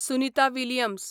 Sunita Williams